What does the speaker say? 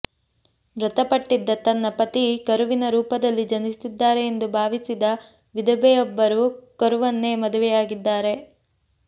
ಮೃತಪಟ್ಟಿದ್ದ ತನ್ನ ಪತಿ ಕರುವಿನ ರೂಪದಲ್ಲಿ ಜನಿಸಿದ್ದಾರೆ ಎಂದು ಭಾವಿಸಿದ ವಿಧವೆಯೊಬ್ಬರು ಕರುವನ್ನೇ ಮದುವೆಯಾಗಿದ್ದಾರೆ